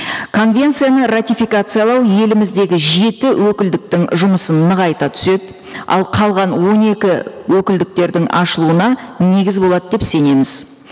конвенцияны ратификациялау еліміздегі жеті өкілдіктің жұмысын нығайта түседі ал қалған он екі өкілдіктердің ашылуына негіз болады деп сенеміз